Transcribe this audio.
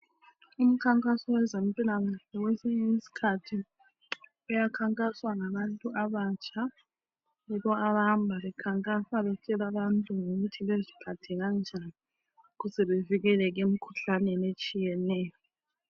Imkhankaso yezempilakahle kwesinye isikhathi iyakhankaswa ngabantu abatsha. Yibo abahamba bekhankasa betshela abantu ngokuthi baziphathe kanjani ukuze bevikeleke emikhuhlaneni etshiyeneyo.